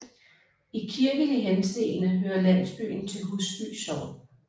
I kirkelig henseende hører landsbyen til Husby Sogn